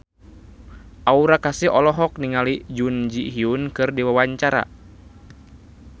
Aura Kasih olohok ningali Jun Ji Hyun keur diwawancara